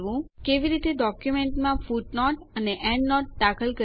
કેવી રીતે ડોક્યુંમેન્ટોમાં ફૂટનોટ અને એન્ડનોટ દાખલ કરવી